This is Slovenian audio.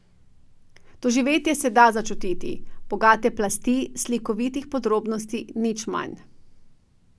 Doživetje se da začutiti, bogate plasti slikovitih podrobnosti nič manj.